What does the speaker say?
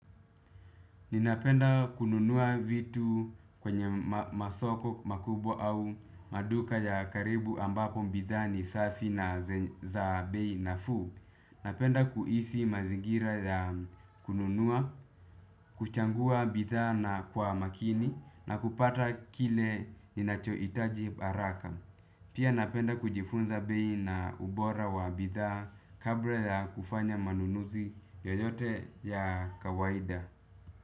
Ninapenda kununua vitu kwenye masoko makubwa au maduka ya karibu ambapo bidhaa ni safi na za bei nafuu. Napenda kuhisi mazingira ya kununua, kuchangua bidhaa na kwa makini na kupata kile ninachohitaji haraka. Pia napenda kujifunza bei na ubora wa bidhaa kabla ya kufanya manunuzi yoyote ya kawaida.